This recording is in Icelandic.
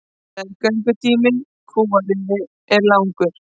Meðgöngutími kúariðu er langur.